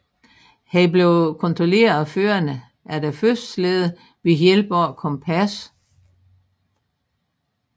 Han blev kontrolleret af føreren af den første slæde ved hjælp af et kompas